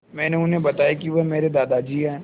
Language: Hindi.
मैंने उन्हें बताया कि वह मेरे दादाजी हैं